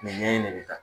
Nin ɲɛ in ne bɛ taa